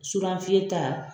Surafiyɛn ta